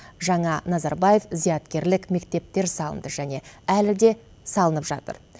жаңа назарбаев зияткерлік мектептер салынды және әлі де салынып жатыр